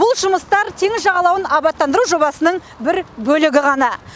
бұл жұмыстар теңіз жағалауын абаттандыру жобасының бір бөлігі ғана